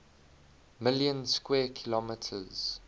million square kilometers